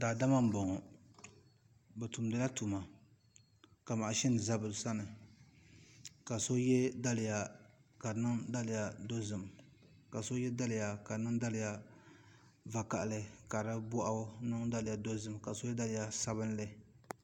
Daadama n boŋo bi tumdila tuma ka mashin ʒɛ bi sani ka so yɛ daliya ka di niŋ daliya dozim ka so yɛ daliya ka di niŋ daliya vakaɣali ka di boɣu niŋ daliya dozim ka so yɛ daliya sabinli